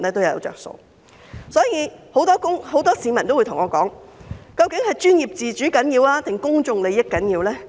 因此，很多市民都問我，究竟是專業自主重要，還是公眾利益重要？